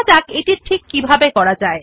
so let us learn how to do this